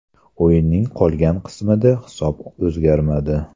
O‘yinning qolgan qismida hisob o‘zgarmadi.